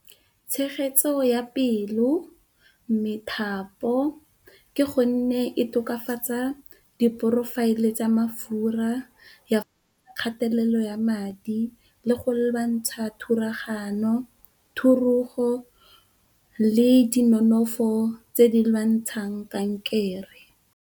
Tshegetso ya pelo, methapo. Ke gonne e tokafatsa di profile tsa mafura, kgatalelo ya madi, le go lwantsha thulagano ya madi, thurugo le di nonofo tse di lwantshang kankere.